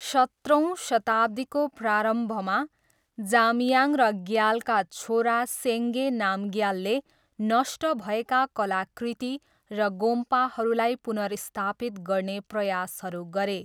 सत्रौँ शताब्दीको प्रारम्भमा, जाम्याङ र ग्यालका छोरा सेङ्गे नामग्यालले नष्ट भएका कलाकृति र गोम्पाहरूलाई पुनर्स्थापित गर्ने प्रयासहरू गरे।